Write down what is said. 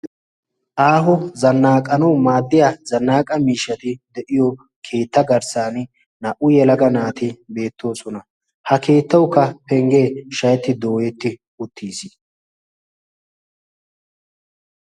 Aaho nzannaqanawu maaddiyaa zannaqaa miishshati deiyoo keetta garssaani naa'u yelaga naati beettoosona ha keettawukka penggee shayetti dooyetti uttis.